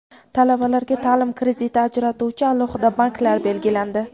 Talabalarga ta’lim krediti ajratuvchi alohida banklar belgilandi.